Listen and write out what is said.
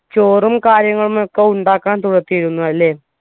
ചോറും കാര്യങ്ങളുമൊക്കെ ഉണ്ടാക്കാൻ തുടക്കിയിരുന്നു അല്ലെ